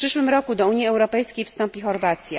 W przyszłym roku do Unii Europejskiej wstąpi Chorwacja.